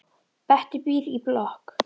Bettý býr í blokk.